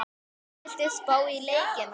Viltu spá í leikina?